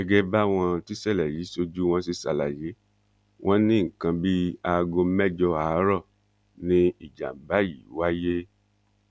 gẹgẹ báwọn tíṣẹlẹ yìí ṣojú wọn ṣe ṣàlàyé wọn ní nǹkan bíi aago mẹjọ àárọ ni ìjàmbá yìí wáyé